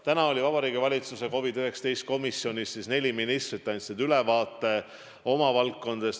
Täna oli koos Vabariigi Valitsuse COVID-19 komisjon, kus neli ministrit andsid ülevaate oma valdkonnast.